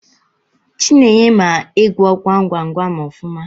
Chinenye mara ịgwọ gwam gwam gwam ọfụma.